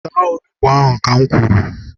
Taa onugbu ahu ka m kwuru!